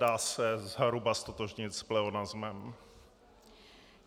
Dá se zhruba ztotožnit s pleonasmem.